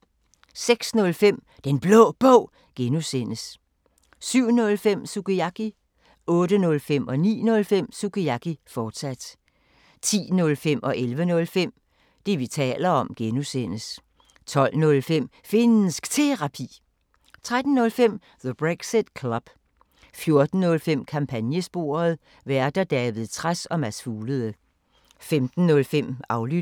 06:05: Den Blå Bog (G) 07:05: Sukiyaki 08:05: Sukiyaki, fortsat 09:05: Sukiyaki, fortsat 10:05: Det, vi taler om (G) 11:05: Det, vi taler om (G) 12:05: Finnsk Terapi 13:05: The Brexit Club 14:05: Kampagnesporet: Værter: David Trads og Mads Fuglede 15:05: Aflyttet